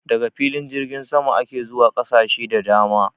Daga filin jirgin sama ake zuwa ƙasashe da dama